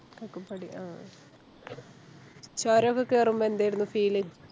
കക്കപ്പടി അഹ് അഹ് ചോരോക്കെ കേറുമ്പോ എന്താരുന്നു Feel